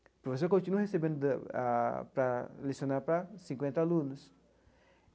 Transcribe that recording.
O professor continua recebendo da a para lecionar para cinquenta alunos.